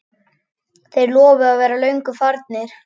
Þeir lofuðu að vera löngu farnir.